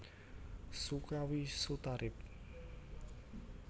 Sukawi Sutarip